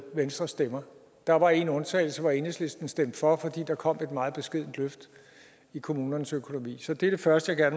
venstres stemmer der var en undtagelse hvor enhedslisten stemte for fordi der kom et meget beskedent løft i kommunernes økonomi det er det første jeg